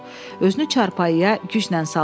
Özünü çarpayıya güclə saldı.